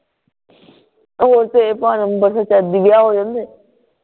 ਹੁਣ ਤੇ ਭਾਵੇ ਅੰਬਰਸਰ ਚ ਹੋ ਜਾਂਦੇ